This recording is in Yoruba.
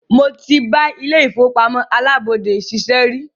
Mó tí bá ilé ìfọwọ́pamó alábọ́dé ṣiṣẹ́ rí.